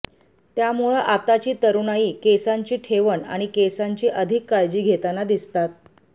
त्यामुळं आताची तरूणाई केसांची ठेवण आणि केसांची अधिक काळजी घेताना दिसतात